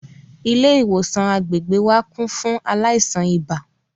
Ilé ìwòsàn agbègbè wa kún fún àwọn aláìsàn ibà